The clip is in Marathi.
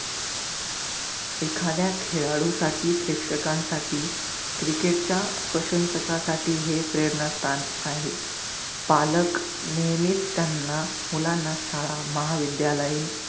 एखाद्या खेळाडूसाठी, प्रेक्षकांसाठी cricket च्या प्रश्नसकांसाठी हे प्रेरणा स्थान आहे. पालक नेहमीच त्यांना मुलांना, शाळा, महाविद्यालयीन,